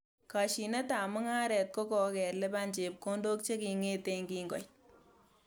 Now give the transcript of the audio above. Kashinetab mungaret ko ko kelipan chepkondok chekinget kingoit